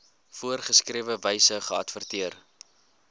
voorgeskrewe wyse geadverteer